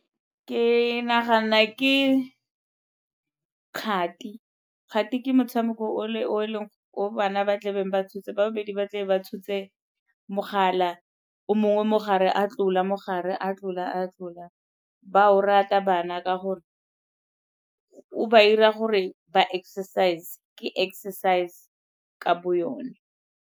Ke nagana ke kgati, kgati ke motshameko o bana ba tla beng ba tshotse, ba babedi ba tlebe ba tshotse mogala o mongwe mo gare a tlola mo gare a tlola, a tlola. Ba a o rata bana ka gore o ba 'ira gore ba exercise, ke exercise ka bo yone.